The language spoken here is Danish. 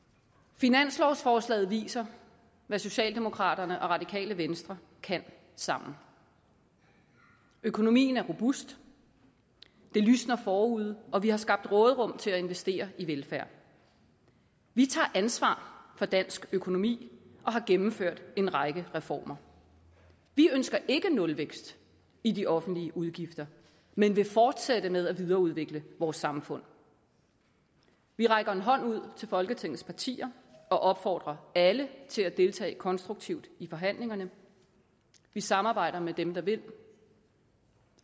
finanslovsforslaget viser hvad socialdemokraterne og radikale venstre kan sammen økonomien er robust det lysner forude og vi har skabt råderum til at investere i velfærd vi tager ansvar for dansk økonomi og har gennemført en række reformer vi ønsker ikke nulvækst i de offentlige udgifter men vil fortsætte med at videreudvikle vores samfund vi rækker en hånd ud til folketingets partier og opfordrer alle til at deltage konstruktivt i forhandlingerne vi samarbejder med dem der vil